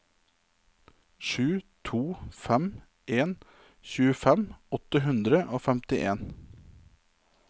sju to fem en tjuefem åtte hundre og femtien